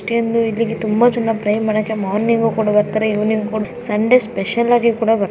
ಇಲ್ಲಿ ತುಂಬಾ ಜನ ಪ್ರೇಯರ್ ಮಾಡೋಕ್ಕೆ ಮಾರ್ನಿಂಗ್ ಕೂಡ ಬರುತ್ತಾರೆ ಇವಿನಿಂಗ್ ಕೂಡ ಬರುತ್ತಾರೆ ಸಂಡೆ ಸ್ಪೆಷಲ್ ಆಗಿ ಕೂಡ ಬರುತ್ತಾರೆ.